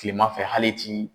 Kilemanfɛ hali i t'i